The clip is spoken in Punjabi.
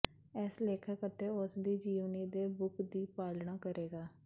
ਇਸ ਲੇਖਕ ਅਤੇ ਉਸ ਦੀ ਜੀਵਨੀ ਦੇ ਬੁੱਕ ਦੀ ਪਾਲਣਾ ਕਰੇਗਾ